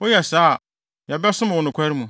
Woyɛ saa a, yɛbɛsom wo nokware mu.”